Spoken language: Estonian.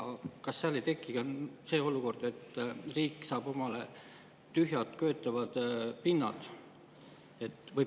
Kas seal ei teki see olukord, et riik saab omale tühjad köetavad pinnad?